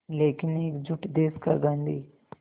लेकिन एकजुट देश का गांधी